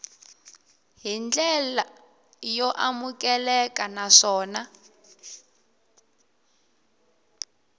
hi ndlela yo amukeleka naswona